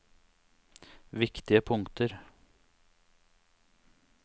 viktige punkter